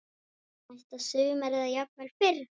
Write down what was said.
Næsta sumar eða jafnvel fyrr.